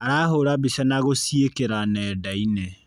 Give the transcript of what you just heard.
Arahũra mbica na gũciĩkĩra nendainĩ.